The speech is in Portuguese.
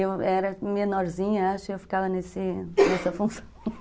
Eu era menorzinha, acho, e eu ficava nessa função.